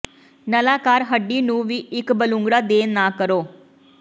ਨਲਾਕਾਰ ਹੱਡੀ ਨੂੰ ਵੀ ਇੱਕ ਬਲੂੰਗੜਾ ਦੇਣ ਨਾ ਕਰੋ